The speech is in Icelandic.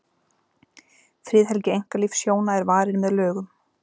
friðhelgi einkalífs hjóna er varin með lögum